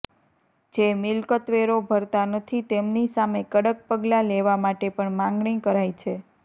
જે મિલકતવેરો ભરતા નથી તેમની સામે કડક પગલાં લેવા માટે પણ માંગણી કરાઈ છે